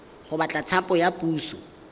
go batla thapo ya puso